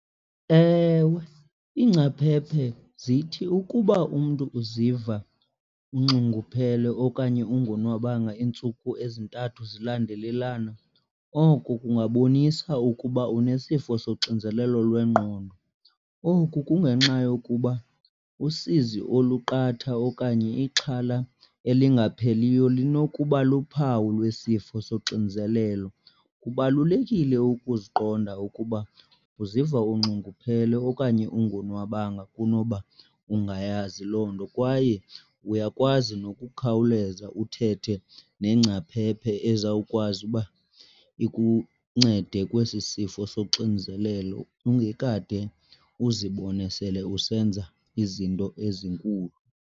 Ewe, iingcaphephe zithi ukuba umntu uziva unxunguphele okanye ungonwabanga iintsuku ezintathu zilandelelana oko kungabonisa ukuba unesifo soxinzelelo lwengqondo. Oku kungenxa yokuba usizi oluqatha okanye ixhala elingapheliyo linokuba luphawu lwesifo soxinzelelo. Kubalulekile ukuziqonda ukuba uziva unxunguphele okanye ungonwabanga kunoba ungayazi loo nto kwaye uyakwazi nokukhawuleza uthethe nengcaphephe ezawukwazi uba ikuncede kwesi sifo soxinzelelo ungekade uzibone sele usenza izinto ezinkulu.